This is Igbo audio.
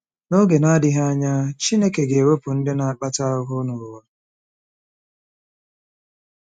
N’oge na-adịghị anya, Chineke ga-ewepụ ndị na-akpata ahụhụ n’ụwa.